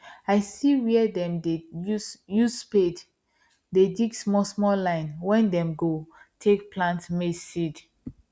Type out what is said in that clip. i see where dem dey use use spade dey dig small small line wen them go take plant maize seed